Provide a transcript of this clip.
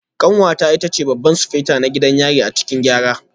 Kanwata ita ce Babban Sufeto na gidan yari a cikin Gyara